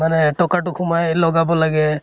মানে এটকে টো সোমাই লগাব লাগে